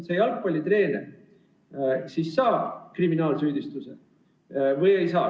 Kas see jalgpallitreener saab kriminaalsüüdistuse või ei saa?